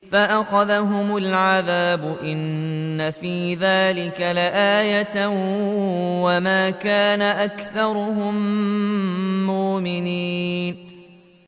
فَأَخَذَهُمُ الْعَذَابُ ۗ إِنَّ فِي ذَٰلِكَ لَآيَةً ۖ وَمَا كَانَ أَكْثَرُهُم مُّؤْمِنِينَ